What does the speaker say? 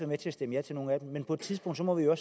med til at stemme ja til nogle af dem men på et tidspunkt må vi jo